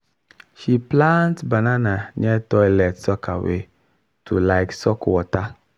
she plant banana near toilet soakaway to like suck water.